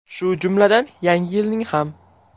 Shu jumladan, Yangi yilning ham.